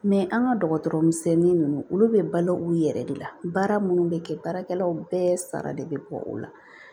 an ka dɔgɔtɔrɔ misɛnnin ninnu olu bɛ balo u yɛrɛ de la baara minnu bɛ kɛ baarakɛlaw bɛɛ sara de bɛ bɔ o la